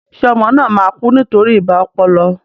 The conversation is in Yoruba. Ṣé ọmọ náà máa kú nítorí ibà ọpọlọ?